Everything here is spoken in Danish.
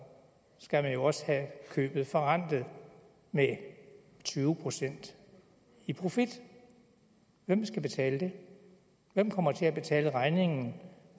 skal man jo også have købet forrentet med tyve procent i profit hvem skal betale det hvem kommer til at betale regningen